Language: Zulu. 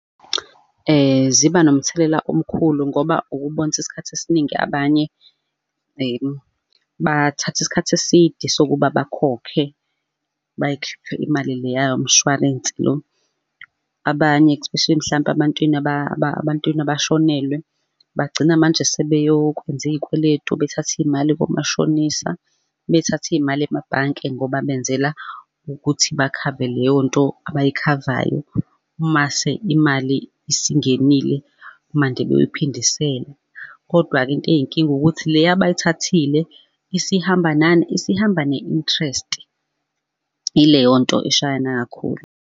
Ziba nomthelela omkhulu, ngoba ukubone ukuthi isikhathi esiningi abanye bathatha isikhathi eside sokuba bakhokhe bayikhiphe imali leya mshwarensi lo. Abanye especially mhlampe abantwini abantwini abashonelwe bagcina manje sebeyokwenza iy'kweletu bethathe iy'mali komashonisa bethathe iy'mali emabhanke ngoba benzela ukuthi bakhave leyonto abayikhavayo, mase imali isingenile manje beyoyiphindisela. Kodwa-ke into eyinkinga ukuthi leya abayithathile isihamba nani? Isihamba ne-interest. Ileyonto eshayana kakhulu.